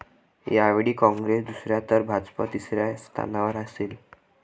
यावेळी काँग्रेस दुसऱ्या तर भाजप तिसऱ्या स्थानावर असेल.